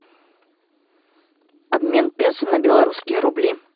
обмен песо на белорусские рубли